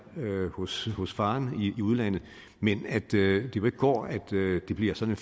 hos hos faren i udlandet men at det jo ikke går at det bliver sådan